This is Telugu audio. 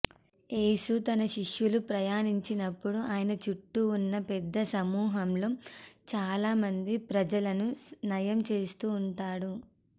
యేసు తన శిష్యులు ప్రయాణించినప్పుడు ఆయన చుట్టూ ఉన్న పెద్ద సమూహంలో చాలామంది ప్రజలను నయం చేస్తూ ఉంటాడు